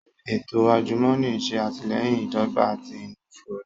Eto ajumọni n ṣe atilẹyin idọgba ati inifura